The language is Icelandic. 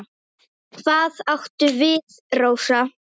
Hvað áttu við, Rósa?